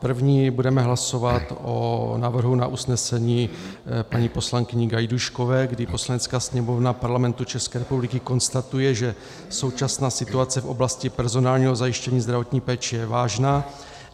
První budeme hlasovat o návrhu na usnesení paní poslankyně Gajdůškové, kdy Poslanecká sněmovna Parlamentu České republiky konstatuje, že současná situace v oblasti personálního zajištění zdravotní péče je vážná.